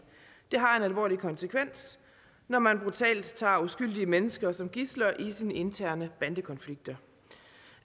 det har en alvorlig konsekvens når man brutalt tager uskyldige mennesker som gidsler i sine interne bandekonflikter